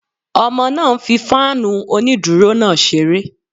Ọmọ náà ń fí fáànù onídúró náà ṣeré